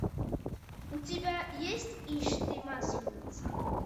у тебя есть ишь ты масленица